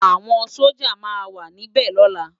Awòn Sójá má wà ni bè lòlá